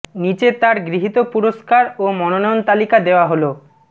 নিচে তার গৃহীত পুরস্কার ও মনোনয়ন তালিকা দেওয়া হলঃ